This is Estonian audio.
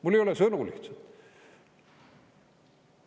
Mul ei ole sõnu lihtsalt.